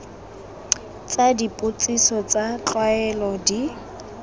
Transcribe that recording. tsa dipotsiso tsa tlwaelo di